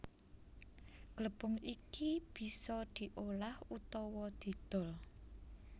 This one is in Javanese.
Glepung iki bisa diolah utawa didol